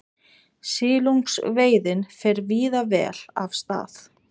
Silungsveiðin fer víða vel af stað